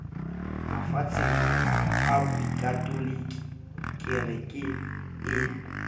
mafatsheng a bokatoliki kereke e